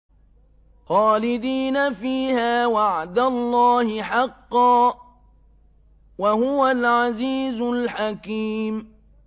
خَالِدِينَ فِيهَا ۖ وَعْدَ اللَّهِ حَقًّا ۚ وَهُوَ الْعَزِيزُ الْحَكِيمُ